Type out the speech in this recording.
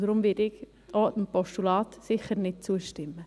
Deswegen werde ich auch dem Postulat sicher nicht zustimmen.